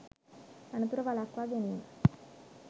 අනතුර වළක්වා ගැනීම